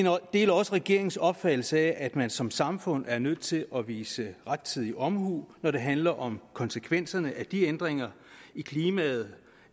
deler også regeringens opfattelse af at man som samfund er nødt til at vise rettidig omhu når det handler om konsekvenserne af de ændringer i klimaet